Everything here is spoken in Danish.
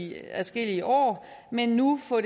i adskillige år men nu får